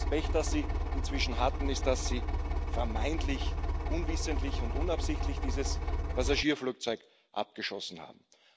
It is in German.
Das Pech, das die Iraner inzwischen hatten, ist, dass sie vermeintlich unwissentlich und unabsichtlich dieses Passagierflugzeug abgeschossen haben.